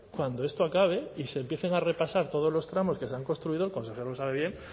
cuando esto acabe y se empiecen a repasar todos los tramos que se han construido el consejero lo sabe bien